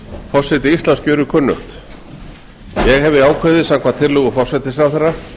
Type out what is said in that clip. forseti íslands gjörir kunnugt ég hefi ákveðið samkvæmt tillögu forsætisráðherra